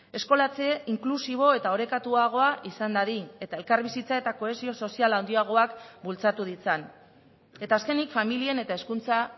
eskolatze inklusibo eta orekatuagoa izan dadin eta elkarbizitza eta kohesio sozial handiagoak bultzatu ditzan eta azkenik familien eta hezkuntza